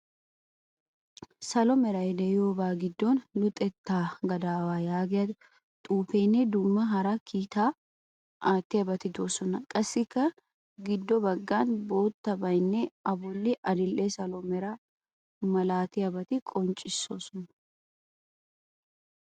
Salo meray de'iyoba giddon luxettaa gadaawa yaagiya xuufeenne dumma hara kiitaa aattiyabati de'oosona. Qassikka giddo baggani boottabayinne A bolli adil"e, salo meraa milatiyabati qoniccoosona.